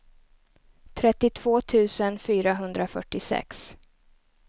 trettiotvå tusen fyrahundrafyrtiosex